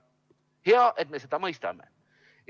Hea, et me seda mõistame.